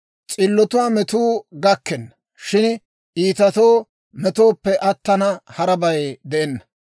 S'illotuwaa metuu gakkenna; shin iitatoo metoppe attina, harabay de'enna.